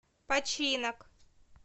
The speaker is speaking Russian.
починок